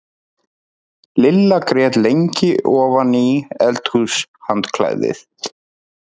Lilla grét lengi ofan í eldhúshandklæðið.